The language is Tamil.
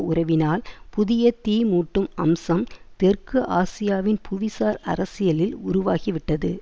உறவினால் புதிய தீமூட்டும் அம்சம் தெற்கு ஆசியாவின் புவிசார் அரசியலில் உருவாகிவிட்டது